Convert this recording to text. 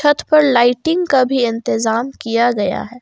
छत पर लाइटिंग का भी इंतजाम किया गया है।